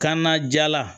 Kanna jala